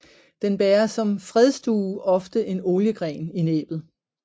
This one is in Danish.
Den bærer som fredsdue ofte en oliegren i næbbet